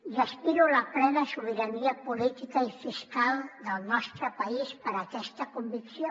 i aspiro a la plena sobirania política i fiscal del nostre país per aquesta convicció